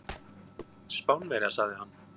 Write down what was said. Spánverja, sagði hann.